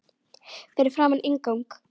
Fyrir framan inngang